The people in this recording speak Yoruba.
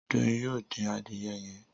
Doyin yóò dín Adìyẹ yén.